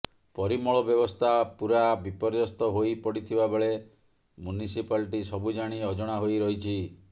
ପରିମଳ ବ୍ୟବସ୍ଥା ପୁରା ବିପର୍ଯ୍ୟସ୍ଥ ହୋଇ ପଡିଥିବାବେଳେ ମୁନସିପାଲଟି ସବୁ ଜାଣି ଅଜଣା ହୋଇ ରହିଛି